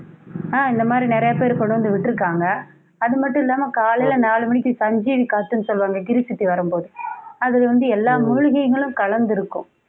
ஆஹ் இந்த மாரி நறைய பேரு கொண்டு வந்து விட்டிருக்காங்க. அதுமட்டும் இல்லாம காலையில நாலு மணிக்கு சஞ்சீவி காத்துன்னு சொல்லுவாங்க கிரி சுத்தி வரும்போது அது வந்து எல்லா மூலிகைகளும் கலந்திருக்கும்